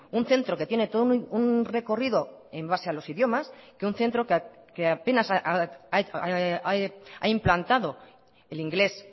un centro que tiene todo un recorrido en base a los idiomas que un centro que apenas ha implantado el inglés